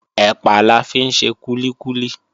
Ẹ̀pà la fi ń ṣe kúlíkúlí